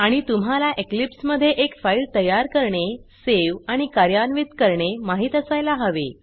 आणि तुम्हाला इक्लिप्स मध्ये एक फाइल तयार करणे सेव आणि कार्यान्वित करणे माहीत असायला हवे